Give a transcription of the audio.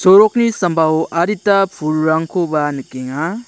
sorokni sambao adita pulrangkoba nikenga.